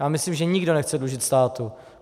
Já myslím, že nikdo nechce dlužit státu.